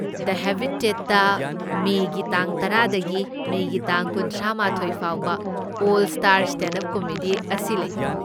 ꯗ ꯍꯦꯕꯤꯇꯦꯠꯇ ꯃꯦꯒꯤ ꯇꯥꯡ ꯇꯔꯥꯗꯒꯤ ꯃꯦꯒꯤ ꯇꯥꯡ ꯀꯨꯟꯊ꯭ꯔꯥꯃꯥꯊꯣꯢ ꯐꯥꯎꯕ 'all star stand up comedy" ꯑꯁꯤ ꯂꯩ꯫